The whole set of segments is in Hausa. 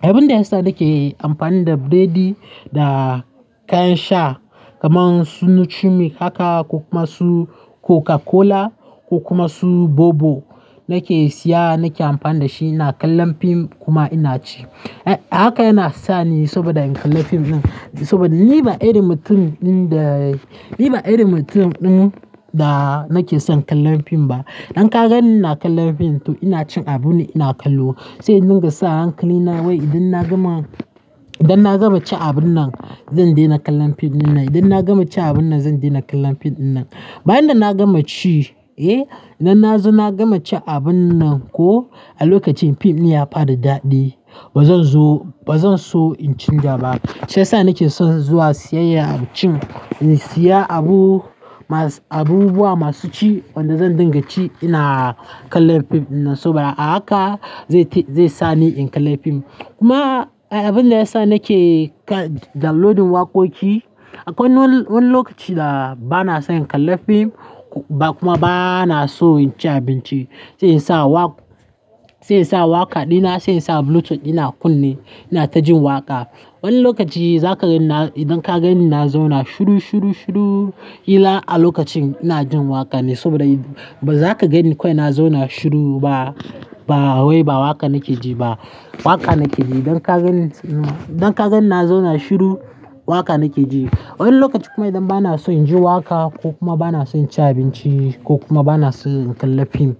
Abin da ya sa nake amfani da biredi da kayan sha kaman su Nutrimilk haka ko kuma su Coca-Cola ko kuma su Bobo nake siya, nake amfani da shi ina kallon fim kuma ina ci. Haka yana sa ni saboda in kalla fim din saboda ni ba irin mutum ɗin da, ni ba irin mutum ɗin da nake son kallon fim ba. Idan ka ganni ina kallon fim to ina cin abune ina kallo. Sai in dunga sa hankali na wai idan na gama, idan na gama ci abin nan zan daina kallon fim dinnan, idan na gama ci abin nan zan daina kallon fim dinnan. Bayan da na gama ci, eh idan nazo na gama ci abin nan ko, a lokacin fim din ya fara dadi ba zan zo, ba zan so in ci gaba. Sai sa nake son zuwa siyayya a cikin in siya abu masu, abubuwa masu ci wanda zan dinga ci ina kallon fim dinnan. Saboda a haka zai sa ni in kalla fim. Kuma abin da ya sa nake downloadin waƙoƙi, akwai wani lokaci da ba na son in kalla fim ba kuma ba na so in ci abinci. Sai in sa waƙa, sai in sa waƙa dina, sai in sa Bluetooth dina a kunne ina ta jin waƙa. Wani lokaci zaka gani na, idan ka gani na zo na shiru, shiru, shiru, yila a lokacin ina jin waƙa ne saboda ba za ka gani kawai na zauna shiru ba. Ba wai ba waƙa nake ji ba, waƙa nake ji. Idan ka gani, idan ka gani na zauna shiru waƙa nake ji. Wani lokaci kuma idan ba na so in ji waƙa ko kuma ba na so in ci abinci ko kuma ba na son in kalla fim,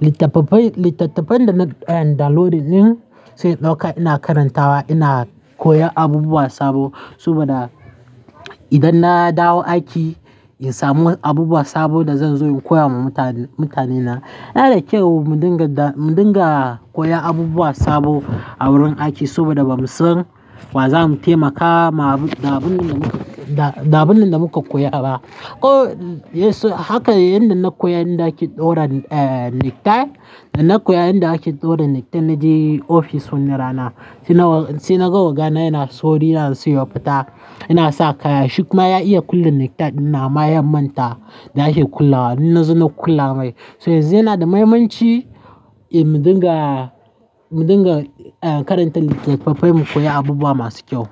littattafai, littattafan da nayi downloadin din sai in ɗauka ina karantawa ina koyan abubuwa sabo. Saboda idan na dawo aiki in samu abubuwa sabo da zan zo in koya wa mutane, mutanena. Yana da kyau mu dinga, mu dinga koya abubuwa sabo a wurin aiki saboda bamu son wazamu taimaka da abun da muka, da abun da muka koya ba. Ko haka yanda na koya yanda ake ɗaura necktie, da na koya yanda ake ɗaura necktie na je ofis wani rana. Sai naga ogana yana sauri yanaso ya fita, yana sa kaya. Shikuma ya iya kulle necktie dinnan, amma ya manta da ake kullewa. Na zo na kula mai. Toh yanzu yana da mahimmanci eh mu dinga, mu dinga karanta littattafai mu koya abubuwa masu kyau.